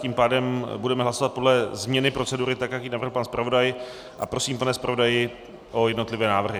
Tím pádem budeme hlasovat podle změny procedury, tak jak ji navrhl pan zpravodaj, a prosím, pane zpravodaji, o jednotlivé návrhy.